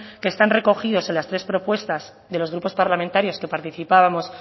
que están recogidos en las tres propuestas de los grupos parlamentarios que participábamos